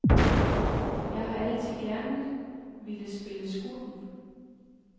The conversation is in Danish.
Jeg har altid gerne ville spille skurken.